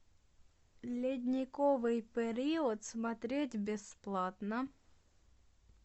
ледниковый период смотреть бесплатно